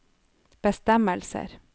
bestemmelser